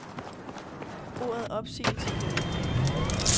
Ordet opsigelse kan vi ikke genfinde.